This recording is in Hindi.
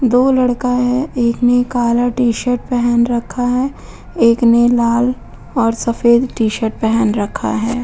दो लड़का हैं। एक ने काला टीशर्ट पेहन रखा है। एक ने लाल और सफेद टीशर्ट पेहन रखा है।